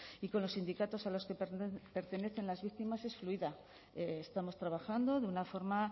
y con los sindicatos a los que pertenecen las víctimas es fluida estamos trabajando de una forma